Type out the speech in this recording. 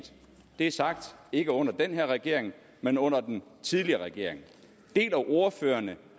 det er sagt ikke under den her regering men under den tidligere regering deler ordføreren